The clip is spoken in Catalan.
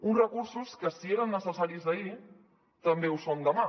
uns recursos que si eren necessaris ahir també ho són demà